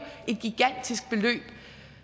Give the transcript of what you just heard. et gigantisk beløb